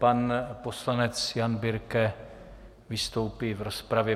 Pan poslanec Jan Birke vystoupí v rozpravě.